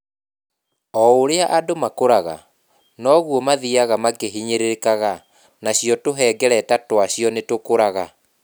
O ũrĩa andũ makũraga, noguo mathiaga makĩhinyĩrĩrĩka nacio tũhengereta twacio nĩ tũkũraga.